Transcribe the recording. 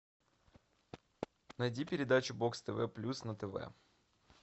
найди передачу бокс тв плюс на тв